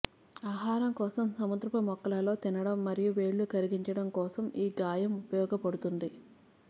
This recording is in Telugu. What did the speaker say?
ఆహారం కోసం సముద్రపు మొక్కలలో తినడం మరియు వేళ్ళు కరిగించడం కోసం ఈ గాయం ఉపయోగించబడుతుంది